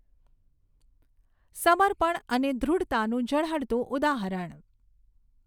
સમર્પણ અને દૃઢતાનું ઝળહળતું ઉદાહરણ!